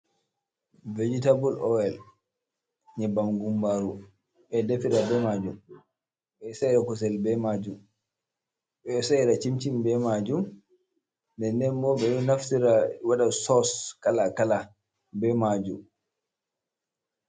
vejitabul oyel yebbam gumbaaru, ɓe ɗo defira be maajum, ɓe ɗo sa'ira kusel be maajum, ɓe ɗo sa'ira cimcin be maajum ndennden bo, ɓe ɗo naftira waɗa sos kaala kaala be maajum.